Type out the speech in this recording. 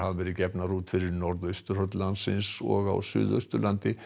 verið gefnar út fyrir norðausturhorn landsins og á Suðausturlandi